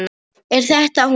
Er þetta hún?